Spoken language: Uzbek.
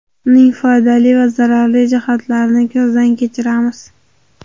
Uning foydali va zararli jihatlarini ko‘zdan kechiramiz.